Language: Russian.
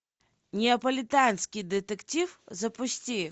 неаполитанский детектив запусти